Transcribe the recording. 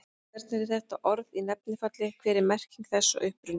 Hvernig er þetta orð í nefnifalli, hver er merking þess og uppruni?